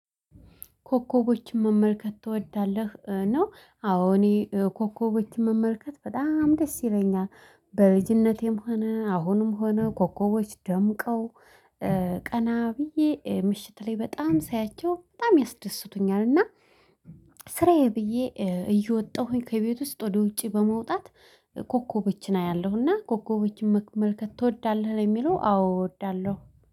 ኮከቦችን መመልከት ትወዳለህ? ነው አዎ እኔ ኮከቦችን መመልከት በጣም ደስ ይለኛል። በልጅነቴም ሆነ አሁንም ሆነ ኮኮቦች ደምቀው ቀና ብዬ ምሽት ላይ በጣም ሳያቸው በጣም ያስደስቱኛል። እና ስራዬ ብዬ እየወጣሁኝ ከቤት ውስጥ ወደ ውጪ በመውጣት ኮከቦችን አያለሁና ኮከቦችን መመልከት ትወዳለህ የሚለው አዎ እወዳለሁ